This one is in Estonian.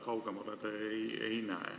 Kaugemale te ei näe.